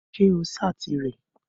Ṣé o ṣáàtì rẹ̀?